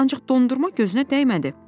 Ancaq dondurma gözünə dəymədi.